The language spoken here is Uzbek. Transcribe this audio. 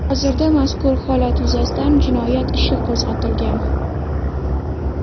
Hozirda mazkur holat yuzasidan jinoyat ishi qo‘zg‘atilgan.